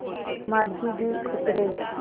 माँझी भी उतरे